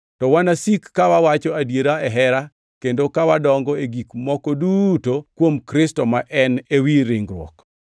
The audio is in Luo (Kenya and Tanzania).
To wanasiki ka wawacho adiera e hera kendo ka wadongo e gik moko duto kuom Kristo ma en ewi ringruok.